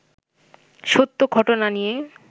সত্য ঘটনা নিয়ে